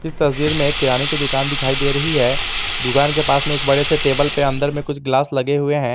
तस्वीर में किराने की दुकान दिखाई दे रही है दुकान के पास में एक बड़े से टेबल पर अंदर में कुछ ग्लास लगे हुए हैं।